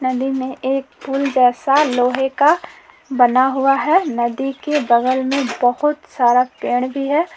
न दी में एक पुल जैसा लोहे का बना हुआ है नदी के बगल में बहुत सारा पेड़ भी है।